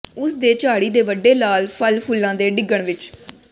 ਉਸ ਦੇ ਝਾੜੀ ਦੇ ਵੱਡੇ ਲਾਲ ਫ਼ਲ ਫੁੱਲਾਂ ਦੇ ਡਿੱਗਣ ਵਿਚ